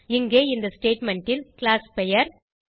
இங்கே இந்த ஸ்டேட்மெண்ட் ல் கிளாஸ் பெயர்